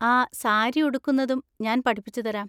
ആ, സാരി ഉടുക്കുന്നതും ഞാൻ പഠിപ്പിച്ചുതരാം.